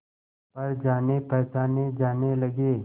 पर जानेपहचाने जाने लगे